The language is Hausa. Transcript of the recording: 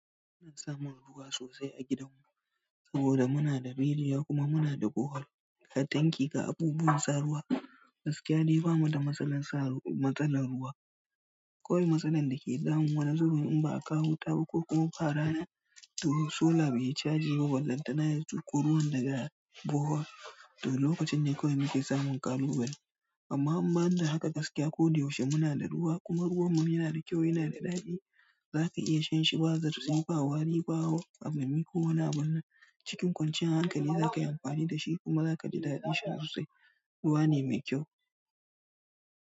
Muna samun ruwa sosai a gidanmu saboda muna da rijiya kuma muna da borehole. Katanki ga abubuwan sa ruwa, gaskiya dai bamu da matsalar sa, matsalar ruwa. Kawai matsalar da ke damu wani zubin in ba a kawo wuta ba ko kuma ba rana, domin solar bai caji ba, ballantana ya zuƙo ruwan daga borehole, to lokacin ne kawai muke samun ƙalubale. Amma in ban da haka gaskiya ko yaushe muna da ruwa kuma ruwan mu yana da kyau, yana da daɗi. Zaka iya shan shi ba zartsi ba wari ba wari, ba a hamami ko wani abu nan. Cikin kwanciyar hankali za ka yi amfani da shi kuma za ka ji daɗin sha sosai. Ruwa ne mai kyau.